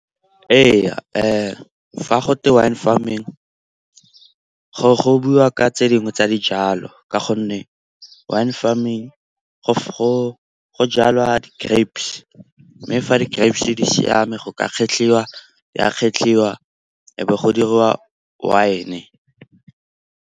Ee, fa go twe wine farming go buiwa ka tse dingwe tsa dijalo ka gonne wine farming go jalwa di-grapes. Mme fa di-grapes di siame go ka kgetlhiwa, ya kgetlhiwa e be go diriwa wine-e.